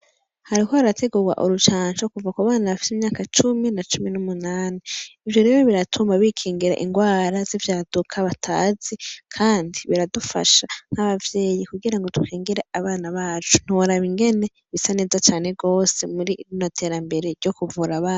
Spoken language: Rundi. Hariko harategurwa urucanco kuva ku myaka cumi na cumi n'umunani. Ivyo rero biratuma bikingira indwara z'ivyaduka batazi Kandi biradufasha nk'abavyeyi kugira ngo dukingire abana bacu , ntiworaba ingene bisa neza cane gose muri rino terambere ryo kuvura abana.